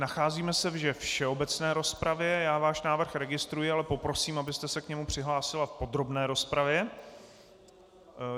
Nacházíme se ve všeobecné rozpravě, já váš návrh registruji, ale poprosím, abyste se k němu přihlásila v podrobné rozpravě.